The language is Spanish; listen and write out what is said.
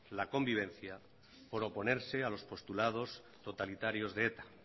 la convivencia por oponerse a los postulados totalitarios de eta